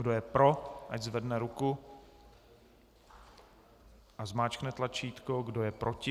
Kdo je pro, ať zvedne ruku a zmáčkne tlačítko, kdo je proti?